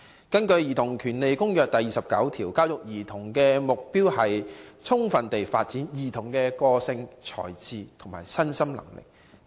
根據《兒童權利公約》第29條所述，"教育兒童的目的應是：最充分地發展兒童的個性、才智和身心能力。